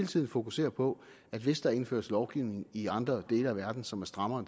tiden fokuserer på at hvis der indføres lovgivning i andre dele af verden som er strammere